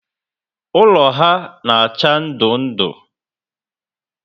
Ụlọ ha na acha ndụ ndụ